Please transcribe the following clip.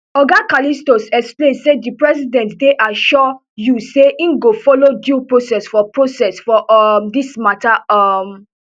oga callistus explain say di president dey assure you say im go follow due process for process for um dis matter um